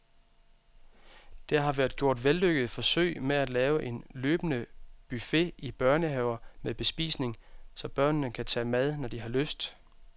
Der har været gjort vellykkede forsøg med at lave en løbende buffet i børnehaver med bespisning, så børnene kan tage mad når de har lyst.